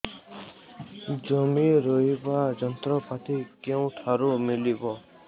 ଜମି ରୋଇବା ଯନ୍ତ୍ରପାତି କେଉଁଠାରୁ ମିଳିବ